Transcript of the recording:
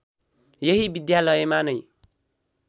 यही विद्यालयमा नै